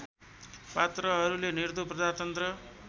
पात्रहरूले निर्धो प्रजातन्त्र